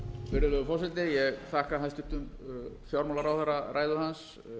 virðulegur forseti ég þakka hæstvirtum fjármálaráðherra ræðu hans